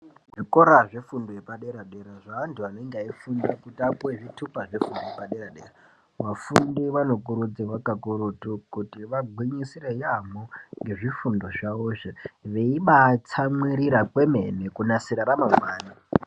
Zvikora zvefundo yepadera dera zvevantu vanenge veyifunda kuti vapuwe zvitupa zvefundo yepadera dera vafundi vanokurudzirwa kakurutu kuti vagwinyisire yambo ngezvifundo izvi veibaa tsamwirira kwemene kunasira ramangwani .